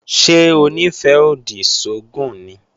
Ṣé Onífẹ́-odi sógùn ni?